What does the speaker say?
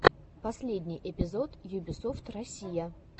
последний эпизод юбисофт россия